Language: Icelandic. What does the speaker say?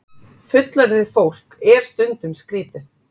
Fullorðið fólk er stundum skrítið.